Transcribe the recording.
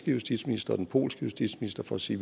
justitsminister og den polske justitsminister for at sige